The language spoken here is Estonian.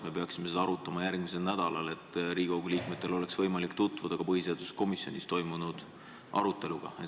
Me peaksime seda arutama järgmisel nädalal, et Riigikogu liikmetel oleks võimalik tutvuda ka põhiseaduskomisjonis toimunud aruteluga.